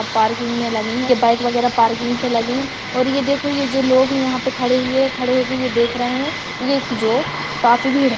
Parking में लगीं हैं ये बाइक वागेरा पार्किंग पे लगी हैं और ये देखो ये जो लोग हैं यहाँ पे खड़े हुए खड़े होके ये देख रहें हैं ये-क जो काफी भीड़ है।